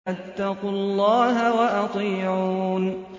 فَاتَّقُوا اللَّهَ وَأَطِيعُونِ